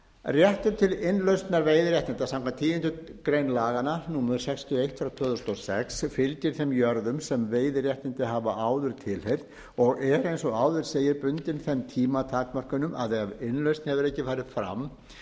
réttur til innlausnar veiðiréttinda samkvæmt tíundu grein laganna fylgir þeim jörðum sem veiðiréttindi hafa áður tilheyrt og er eins og áður segir bundin þeim tímatakmörkunum að ef innlausn hefur ekki farið fram